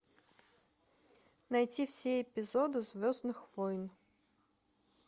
найти все эпизоды звездных войн